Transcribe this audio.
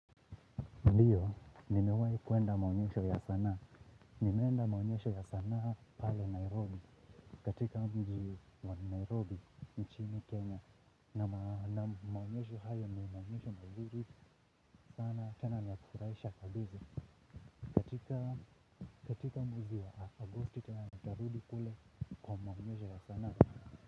Ndiyo, nimewahi kuenda maonyesho ya sanaa, nimeenda maonyesho ya sanaa pale Nairobi, katika mji wa Nairobi, nchi ni Kenya. Na maonyesho hayo ni maonyesho mazuri sana, tena ni ya kufurahisha kabisa, katika mwezi wa Agosti tena nitarudi kule kwa maonyesho ya sanaa.